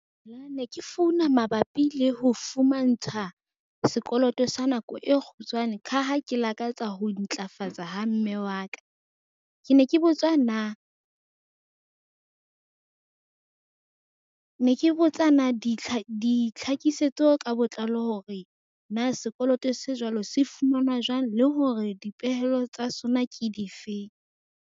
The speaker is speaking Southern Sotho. Ne ke founa mabapi le ho fumantsha sekoloto sa nako e kgutshwane. Ka ha ke lakatsa ho ntlafatsa ha mme wa ka ke ne ke botsa na ditlhakisetso ka botlalo hore na sekoloto se jwalo se fumanwa jwang le hore dipehelo tsa sona ke difeng?